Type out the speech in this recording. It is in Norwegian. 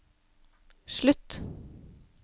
slutt